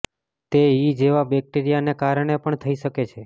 તે ઇ જેવા બેક્ટેરિયાના કારણે પણ થઈ શકે છે